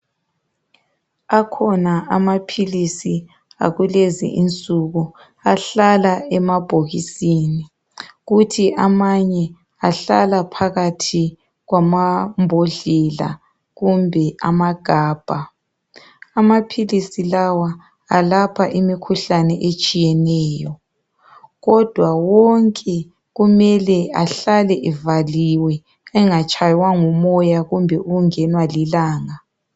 Akhona amaphilisi akulezi insuku ahlala emabhokisini kuthi amanye ahlala phakathi kwamambodlela kumbe amagabha. Amaphilisi lawa a lapha imikhuhlane etshiyeneyo Kodwa wonke kumele ahlale evaliwe engatshaywa ngumoya kumbe ukungenwa lilanga.